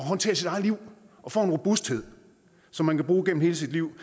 håndtere sit eget liv og får en robusthed som man kan bruge gennem hele sit liv